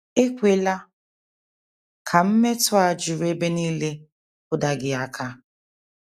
Ekwela ka mmetọ a juru ebe nile kụda gị aka.